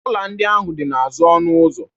Ọla ndị ahụ dị n'azụ ọnụ ụzọ